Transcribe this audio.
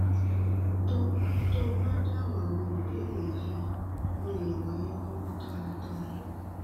tó tó o bá dáhùn àwọn ìbéèrè yìí mo lè ràn é lọwọ dáadáa